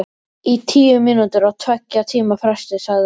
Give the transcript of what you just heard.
Í tíu mínútur á tveggja tíma fresti, sagði hann.